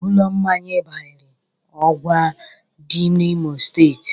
Ụlọ mmanya Ịbarị ọgwa dị n'Imo steeti